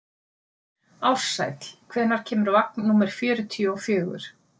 Ársæll, hvenær kemur vagn númer fjörutíu og fjögur?